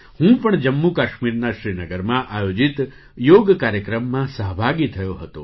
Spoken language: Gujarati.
હું પણ જમ્મુ કાશ્મીરના શ્રીનગરમાં આયોજિત યોગ કાર્યક્રમમાં સહભાગી થયો હતો